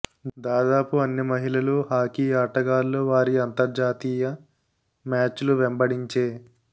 దాదాపు అన్ని మహిళలు హాకీ ఆటగాళ్ళు వారి అంతర్జాతీయ మ్యాచ్లు వెంబడించే